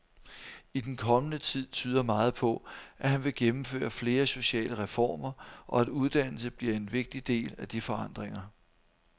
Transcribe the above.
I den kommende tid tyder meget på, at han vil gennemføre flere sociale reformer og at uddannelse bliver en vigtig del af de forandringer.